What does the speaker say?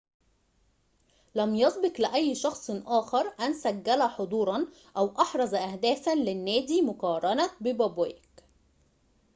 لم يسبق لأي شخص آخر أن سجل حضوراً أو أحرز أهدافاً للنادي مقارنة ببوبيك